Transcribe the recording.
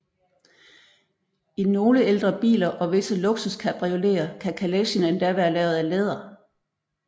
I nogle ældre biler og visse luksuscabrioleter kan kalechen endda være lavet af læder